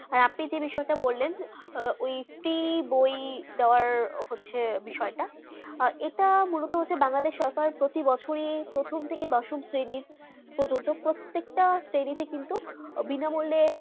আপনি যে বিষয় তা বললেন হয়েছে বিষয় তা এটা মূল্যটা বাংলাদেশ সরকার প্রতিবচয়ে প্রথম থেকে দশম শ্রেণী প্রত্যেকটা শ্রেণী প্রজন্ত বিনা মূল্যের